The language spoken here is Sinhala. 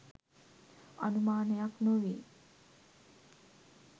අනුමානයක් නොවේ.